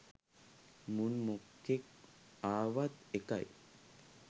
මුන් මොකෙක් ආවත් එකයි